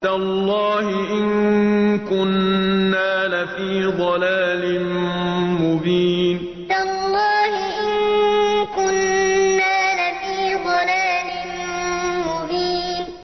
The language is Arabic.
تَاللَّهِ إِن كُنَّا لَفِي ضَلَالٍ مُّبِينٍ تَاللَّهِ إِن كُنَّا لَفِي ضَلَالٍ مُّبِينٍ